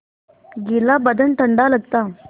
गीला बदन ठंडा लगता